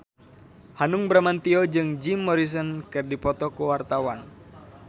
Hanung Bramantyo jeung Jim Morrison keur dipoto ku wartawan